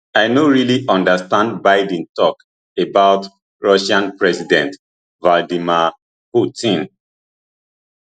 i no really understand biden tok about russian president vladimir putin